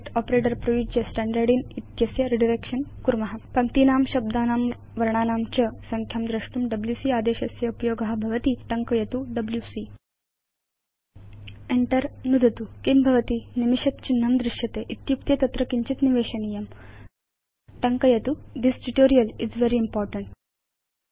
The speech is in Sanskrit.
उपयुज्य स्टाण्डार्डिन् इति एतस्य रिडायरेक्शन कुर्म पश्याम कथमिति पङ्क्तीनां शब्दानां वर्णानां च संख्यां द्रष्टुं डब्ल्यूसी आदेशस्य उपयोग भवति इति वयं जानीम एव टङ्कयतु डब्ल्यूसी enter नुदतु किं भवति160 निमिषद् चिह्नं दृश्यते इत्युक्ते तत्र किञ्चित् निवेशनीयम् टङ्कयतु यथा this tutorial is very important